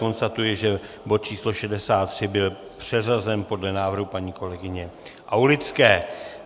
Konstatuji, že bod číslo 63 byl přeřazen podle návrhu paní kolegyně Aulické.